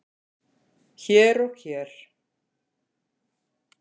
hér og hér.